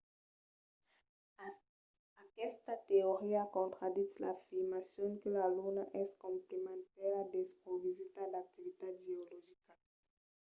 aquesta teoria contraditz l’afirmacion que la luna es completament desprovesida d’activitat geologica